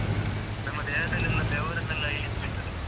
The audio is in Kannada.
ನಮ್ಮ್ ನಮ್ಮ ದೇಹದಲ್ಲೆಲ್ಲಾ ಬೆವರನ್ನೆಲ್ಲಾ ಇಳಿಸಿ ಬಿಡ್ತದೆ ಒಮ್ಮೆ, ಹಾಗೆ.